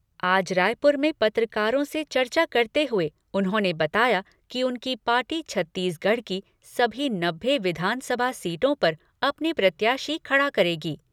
आज रायपुर में पत्रकारों से चर्चा करते हुए उन्होंने बताया कि उनकी पार्टी छत्तीसगढ़ की सभी नब्बे विधानसभा सीटों पर अपने प्रत्याशी खड़ा करेगी।